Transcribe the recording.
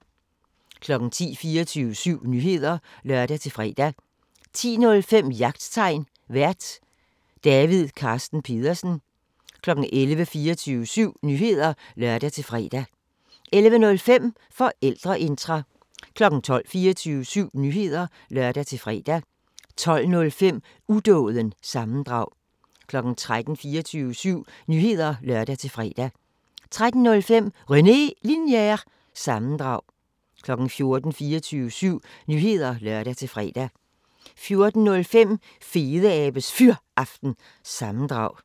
10:00: 24syv Nyheder (lør-fre) 10:05: Jagttegn Vært: David Carsten Pedersen 11:00: 24syv Nyheder (lør-fre) 11:05: Forældreintra 12:00: 24syv Nyheder (lør-fre) 12:05: Udåden – sammendrag 13:00: 24syv Nyheder (lør-fre) 13:05: René Linjer- sammendrag 14:00: 24syv Nyheder (lør-fre) 14:05: Fedeabes Fyraften – sammendrag